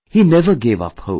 He never gave up hope